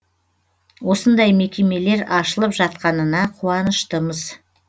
осындай мекемелер ашылып жатқанына қуаныштымыз